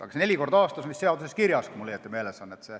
Aga see neli korda aastas on vist seaduses kirjas, kui mul õigesti meeles on.